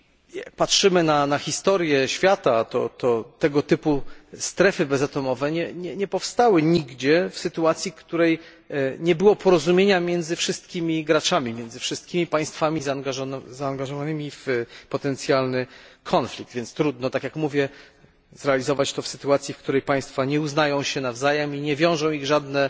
Jak patrzymy na historię świata, to tego typu strefy bezatomowe nie powstały nigdzie w sytuacji, w której nie było porozumienia między wszystkimi graczami, między wszystkimi państwami zaangażowanymi w potencjalny konflikt, więc trudno tak, jak mówię zrealizować to w sytuacji, kiedy państwa nie uznają się nawzajem i nie wiążą ich żadne